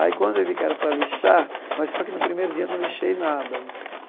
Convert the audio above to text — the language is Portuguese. Aí quando eu vi que era para lixar, mas só que no primeiro dia eu não lixei nada né.